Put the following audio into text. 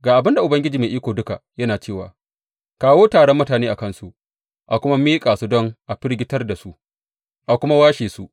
Ga abin da Ubangiji Mai Iko Duka yana cewa kawo taron mutane a kansu a kuma miƙa su don a firgitar da su a kuma washe su.